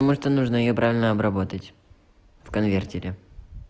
потому что нужно её правильно обработать в конвертере